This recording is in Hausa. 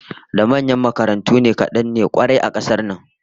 Da manyan makarantu kadan ne kwarai a kasar nan